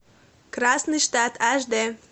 красный штат аш д